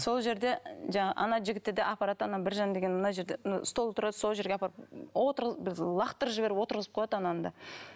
сол жерде жаңағы ана жігітті де апарады да ана біржан деген мына жерде мына стол тұрады сол жерге апарып лақтырып жіберіп отырғызып қояды ананы да